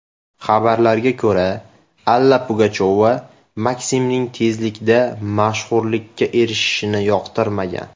Xabarlarga ko‘ra, Alla Pugachyova Maksimning tezlikda mashhurlikka erishishini yoqtirmagan.